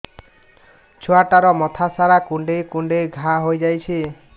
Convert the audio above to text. ଛୁଆଟାର ମଥା ସାରା କୁଂଡେଇ କୁଂଡେଇ ଘାଆ ହୋଇ ଯାଇଛି